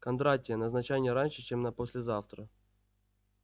кондратия назначай не раньше чем на послезавтра